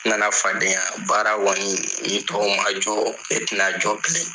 N nana fadenya baara kɔniɔni ni tɔwu majɔ ne tena jɔ bilen